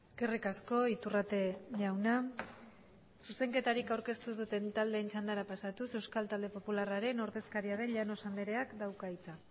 eskerrik asko iturrate jauna zuzenketarik aurkeztu ez duten taldeen txandara pasatuz euskal talde popularraren ordezkaria den llanos andreak dauka hitza